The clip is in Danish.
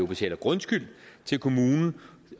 betaler grundskyld til kommunen